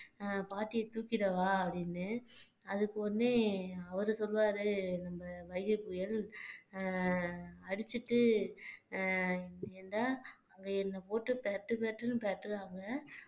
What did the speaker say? அஹ் பாட்டியை தூக்கிடவா அப்படின்னு அதுக்கு உடனே அவரு சொல்வாரு நம்ம வைகை புயல் அஹ் அடிச்சிட்டு ஏன்டா அவுங்க என்ன போட்டு பிரட்டு பிரட்டுன்னு பிரட்டுனாங்க